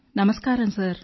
నమస్కారం సార్